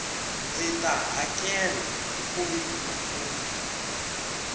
ndzita hakela hi foyini nampundu